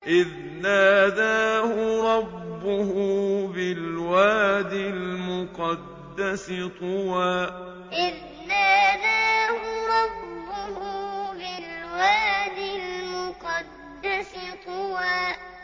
إِذْ نَادَاهُ رَبُّهُ بِالْوَادِ الْمُقَدَّسِ طُوًى إِذْ نَادَاهُ رَبُّهُ بِالْوَادِ الْمُقَدَّسِ طُوًى